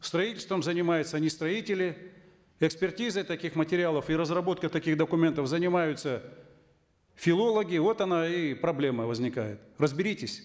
строительством занимаются не строители экспертизой таких материалов и разработкой таких документов занимаются филологи вот она и проблема возникает разберитесь